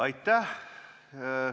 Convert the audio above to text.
Aitäh!